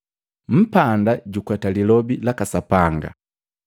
Mpanda jukweta Lilobi laka Sapanga.